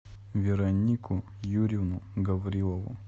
веронику юрьевну гаврилову